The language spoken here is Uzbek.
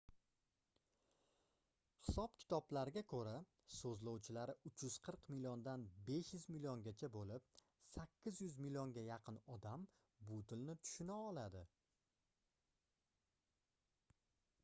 hisob-kitoblarga koʻra soʻzlovchilari 340 milliondan 500 milliongacha boʻlib 800 millionga yaqin odam bu tilni tushuna oladi